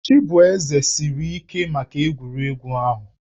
Chibueze siri ike maka egwuregwu ahụ